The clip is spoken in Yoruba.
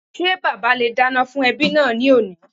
Ṣé bàbá le è dáná fún ẹbí náà ní òní